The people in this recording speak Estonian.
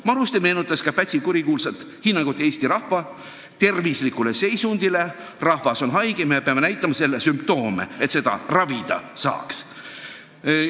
Maruste on meenutanud ka Pätsi kurikuulsat hinnangut Eesti rahva tervislikule seisundile: rahvas on haige, me peame näitama selle sümptoome, et teda ravida saaks.